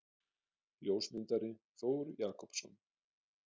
Ljósmyndari: Þór Jakobsson.